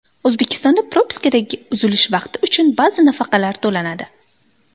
O‘zbekistonda propiskadagi uzilish vaqti uchun ba’zi nafaqalar to‘lanadi.